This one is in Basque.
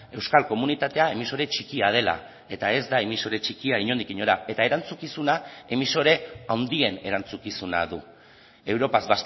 euskal komunitatea emisore txikia dela eta ez da emisore txikia inondik inora eta erantzukizuna emisore handien erantzukizuna du europaz